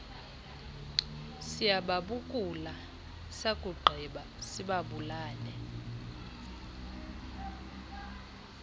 siyababukula sakugqiba sibabulale